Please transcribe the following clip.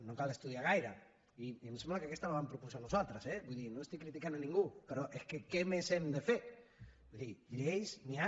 no cal estudiar gaire i em sembla que aquesta la vam proposar nosaltres eh vull dir no estic criticant ningú però és que què més hem de fer vull dir de lleis n’hi ha